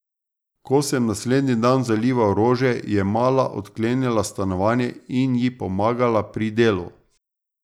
Ko sem naslednji dan zalival rože, ji je mala odklenila stanovanje in ji pomagala pri delu.